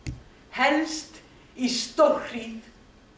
helst í stórhríð